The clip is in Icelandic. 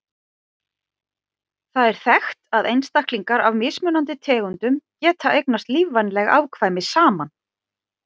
Það er þekkt að einstaklingar af mismunandi tegundum geta eignast lífvænleg afkvæmi saman.